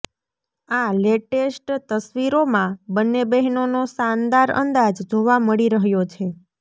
આ લેટેસ્ટેટ તસવીરોમાં બંને બહેનોનો શાનદાર અંદાજ જોવા મળી રહ્યો છે